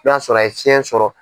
N y'a sɔrɔ a ye fiɲɛ sɔrɔ.